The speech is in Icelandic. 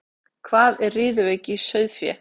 Hvað er riðuveiki í sauðfé?